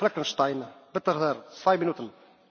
Herr Präsident, liebe Kolleginnen und Kollegen!